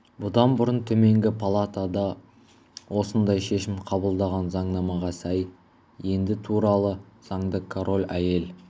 бұдан бұрын төменгі палата да осындай шешім қабылдаған заңнамаға сай енді туралы заңды король әйел